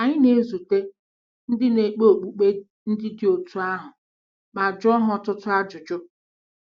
Anyị na-ezute ndị na-ekpe okpukpe ndị dị otú ahụ ma jụọ ha ọtụtụ ajụjụ.